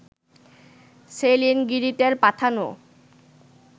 saline গিরিতের পাঠানো